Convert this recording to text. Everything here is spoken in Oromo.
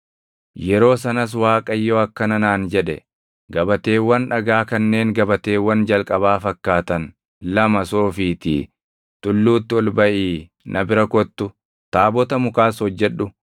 Yeroo sanas Waaqayyo akkana naan jedhe; “Gabateewwan dhagaa kanneen gabateewwan jalqabaa fakkaatan lama soofiitii tulluutti ol baʼii na bira kottu. Taabota mukaas hojjedhu.